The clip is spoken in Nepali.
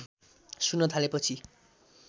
सुन्न थालेपछि